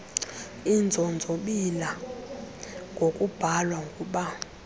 inzonzobila ngokubhalwa ngub